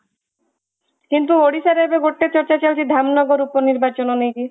କିନ୍ତୁ ଓଡିଶା ରେ ଏବେ ଗୋଟେ ଚର୍ଚ୍ଚା ଚାଲିଛି ଧାମନଗର ଲୋକ ନିର୍ବାଚନ ନେଇକି